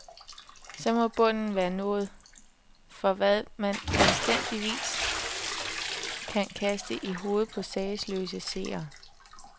Så må bunden være nået for, hvad man anstændigvis kan kaste i hovedet på sagesløse seere.